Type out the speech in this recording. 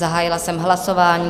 Zahájila jsem hlasování.